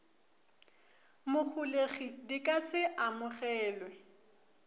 moholegi di ka se amogelwe